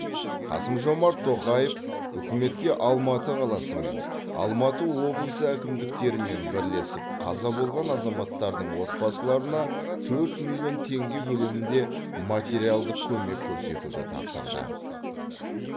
қасым жомарт тоқаев үкіметке алматы қаласы мен алматы облысы әкімдіктерімен бірлесіп қаза болған азаматтардың отбасыларына төрт миллион теңге көлемінде материалдық көмек көрсетуді тапсырды